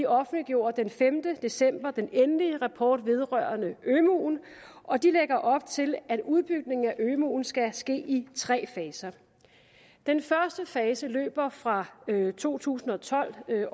offentliggjorde den femte december den endelige rapport vedrørende ømuen og de lægger op til at udbygningen af ømuen skal ske i tre faser den første fase løber fra to tusind og tolv til